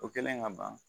O kɛlen ka ban